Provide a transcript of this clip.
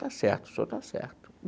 Está certo, o senhor está certo.